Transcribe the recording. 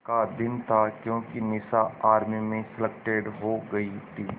का दिन था क्योंकि निशा आर्मी में सेलेक्टेड हो गई थी